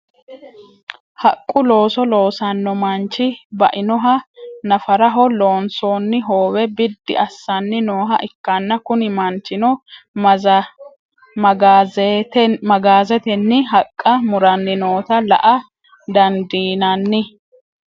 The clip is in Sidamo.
haqqu looso loosanno manchi bainoha nafaraho loonsoonni hoowe biddi assanni nooha ikkanna, kuni manchino magaazetenni haqqa muranni noota la''a dandiinanni.